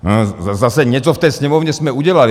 Zase, něco v té Sněmovně jsme udělali.